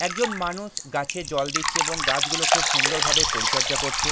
একজন মানুষ গাছে জল দিচ্ছে এবং গাছগুলো খুব সুন্দর ভাবে পরিচর্যা করছে।